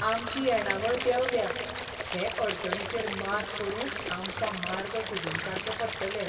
आमची येणावळ देंवल्या ! हे अडचणीचेर मात करूंक आमकां मार्ग सोदून काडचे पडटले.